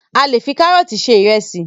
A le fi karọọti ṣe ìrẹsì